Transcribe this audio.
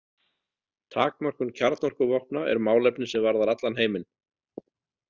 Takmörkun kjarnorkuvopna er málefni sem varðar allan heiminn.